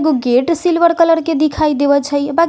एगो gate silver colour के दिखाई